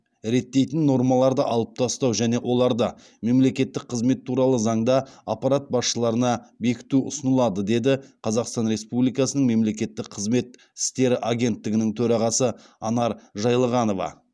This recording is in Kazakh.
реттейтін нормаларды алып тастау және оларды мемлекеттік қызмет туралы заңда аппарат басшыларына бекіту ұсынылады деді қазақстан республикасының мемлекеттік қызмет істері агенттігінің төрағасы анар жайылғанова